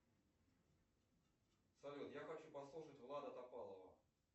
салют я хочу послушать влада топалова